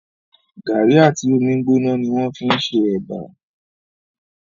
Gàrí àti omi gbóná ni wọ́n fí n ṣe ẹ̀bà